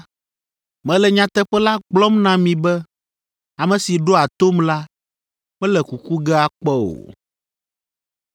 Mele nyateƒe la gblɔm na mi be ame si ɖoa tom la, mele kuku ge akpɔ o.”